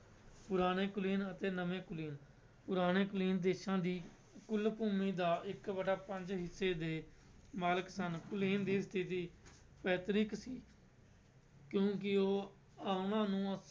ਪੁਰਾਣੇ ਕੁਲੀਨ ਅਤੇ ਨਵੇਂ ਕੁਲੀਨ, ਪੁਰਾਣੇ ਕੁਲੀਨ ਦੇਸਾਂ ਦੀ ਕੁੱਲ ਭੂਮੀ ਦਾ ਇੱਕ ਵਟਾ ਪੰਜ ਹਿੱਸੇ ਦੇ ਮਾਲਕ ਸਨ, ਕੁਲੀਨ ਦੀ ਸਥਿੱਤੀ ਪੈਤਰਿਕ ਸੀ ਕਿਉਂਕਿ ਉਹ ਉਹਨਾਂ ਨੂੰ